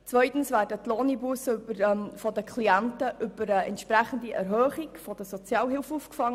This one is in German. Zweitens werden die Lohneinbussen der Klienten über eine entsprechende Erhöhung der Sozialhilfe aufgefangen.